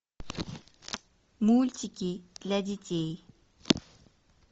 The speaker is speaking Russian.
мультики для детей